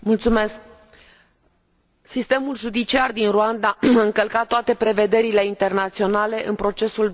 Sistemul judiciar din Rwanda a încălcat toate prevederile internaționale în procesul doamnei Victoire Ingabire.